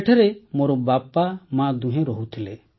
ସେଠାରେ ମୋର ବାପା ମା ଦୁହେଁ ରହୁଥିଲେ